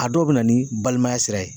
A dɔw bɛ na ni balimaya sira ye